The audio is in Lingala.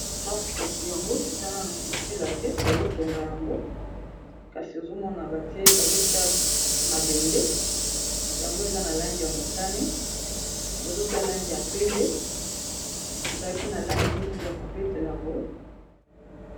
Ndako kasi yango eza nanu ya kosila te bazotonga yango kasi ozomona batie bazotia mabende yango eza na lange ya motane bazotia lange ya pembe ezalaki na langi neti ya kobetela boye